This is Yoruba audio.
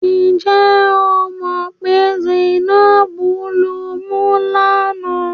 Ǹ jẹ́ o mọ̀ pé Zainab lumú lánàá?